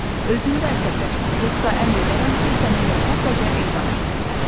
Özün də əsəbləşmə, yoxsa əmr edərəm ki, səni elə burdaca edam etsinlər.